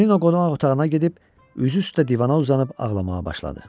Tonino qonaq otağına gedib üzü üstə divana uzanıb ağlamağa başladı.